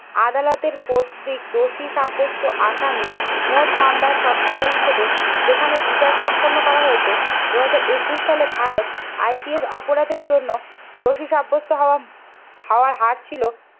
আদালতের কর্তৃক দোষী সাব্যস্ত আসামী মোট মামলা শতকরা হিসেবে যেখানে বিচার সম্পন্ন করা হয়েছে। দুই হাজার একুশ সালে ভারত IPS অপরাধের জন্য দোষী সাব্যস্ত হওয়া হাওয়ার হার ছিল